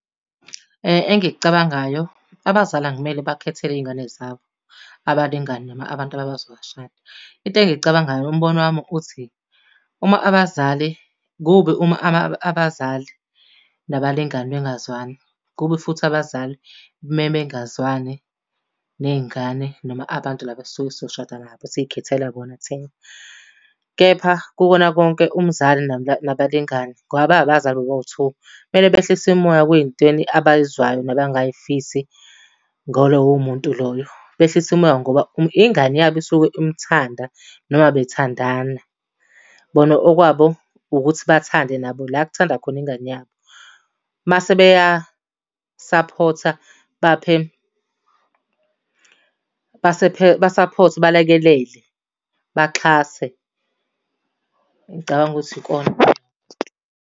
Engikucabangayo, abazali akumele bakhethe izingane zabo abalingani noma abantu abazobashada. Into engiyicabangayo umbono wami uthi, uma abazali kubi uma abazali nabalingani bengazwani. Kubi futhi abazali mebengazwani ney'ngane noma abantu laba esisuke sizoshada nabo esikhethela bona thina. Kepha kukona konke umzali nabalingani, ngoba bayabazali abazali bobawu-two, kumele behlise imimoya kwiy'ntweni abay'zwayo nabangay'fisi ngaloyo muntu loyo. Behlise umoya ngoba ingane yabo isuke imthanda noma bethandana. Bona okwabo ukuthi bathande nabo la ekuthanda khona ingane yabo. Mase beyasaphotha, baphe basaphothe balekelele, baxhase. Ngicabanga ukuthi ikona.